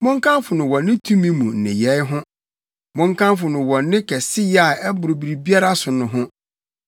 Monkamfo no wɔ ne tumi mu nneyɛe ho; monkamfo no wɔ ne kɛseyɛ a ɛboro biribiara so no ho.